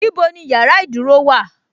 Ibo ni yàrá ìdúró wà:?